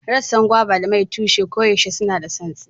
Rassan Gwaiba da mai tushe koyaushe suna santsi